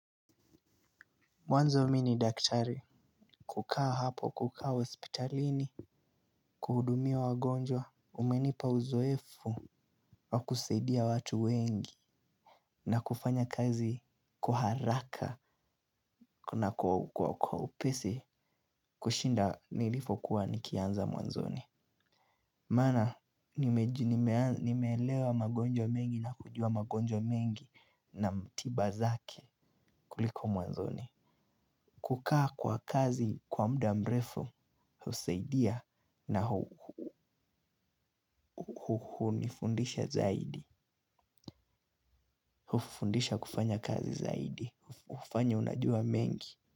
Mwanzo mi ni daktari. Kukaa hapo kukaa hospitalini kuhudumia wagonjwa umenipa uzoefu wa kusaidia watu wengi. Na kufanya kazi kw haraka na kwa upesi kushinda nilipokuwa nikianza mwanzoni. Maana nimeelewa wagonjwa mengi na kujua wagonjwa mengi na mtiba zake kuliko mwanzoni. Kukaa kwa kazi kwa mda mrefu, husaidia na hunifundisha zaidi. Hufundisha kufanya kazi zaidi, kufanya unajua mengi.